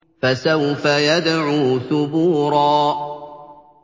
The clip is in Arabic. فَسَوْفَ يَدْعُو ثُبُورًا